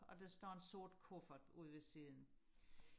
og der står en sort kuffert ude ved siden